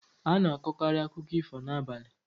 A na-akọkarị akụkọ ifo n'abalị.